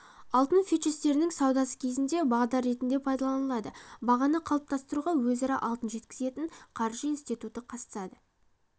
алтын фьючерстерінің саудасы кезінде бағдар ретінде пайдаланылады бағаны қалыптастыруға өзара алтын жеткізетін қаржы институты қатысады